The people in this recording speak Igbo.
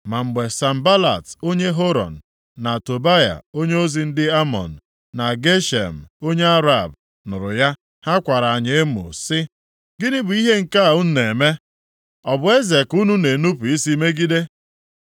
Ma mgbe Sanbalat, onye Horon, na Tobaya, onyeozi ndị Amọn, na Geshem onye Arab, nụrụ ya, ha kwara anyị emo sị, “Gịnị bụ ihe nke a unu na-eme? Ọ bụ eze ka unu na-enupu isi megide?”